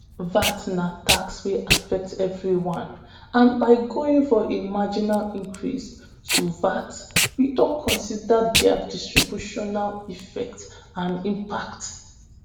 "vat na tax wey affect everyone and by going for a marginal increase to vat we don consider dia distributional effect and impact."